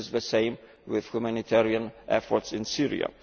This is the same as with humanitarian efforts in Syria.